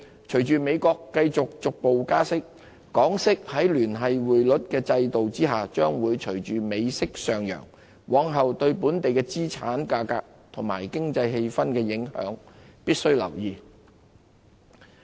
隨着美國繼續逐步加息，港息在聯繫匯率制度下將會隨美息上揚，往後對本地資產價格及經濟氣氛的影響，必須留意。